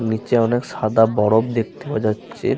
নিচে অনেক সাদা বরফ দেখতে পাওয়া যাচ্ছে।